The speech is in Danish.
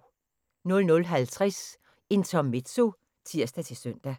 00:50: Intermezzo (tir-søn)